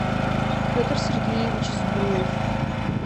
петр сергеевич сбруев